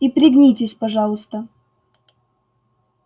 и пригнитесь пожалуйста